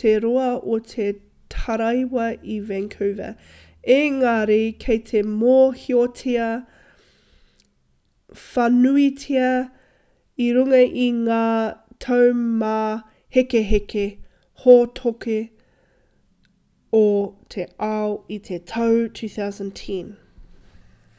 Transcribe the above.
te roa o te taraiwa i vancouver engari kei te mōhiotia whānuitia i runga i ngā taumāhekeheke hōtoke o te ao i te tau 2010